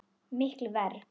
Miklu verr.